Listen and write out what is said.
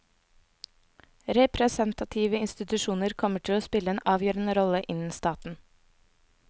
Representative institusjoner kommer til å spille en avgjørende rolle innen staten.